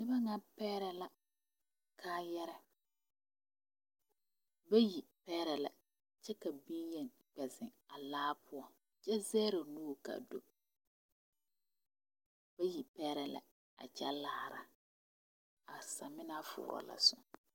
noba maŋ pɛɛrɛ la kaayare. bayi pɛɛre la kyɛ ka bonyeni kpe zeŋ a laa poʊ kyɛ zere o nuur kaa do bayi pɛɛrɛ la a kyɛ laara ka a samena fooro la zoo